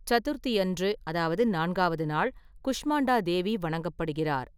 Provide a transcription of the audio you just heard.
சதுர்த்தியன்று அதாவது (நான்காவது நாள்) குஷ்மாண்டா தேவி வணங்கப்படுகிறார்.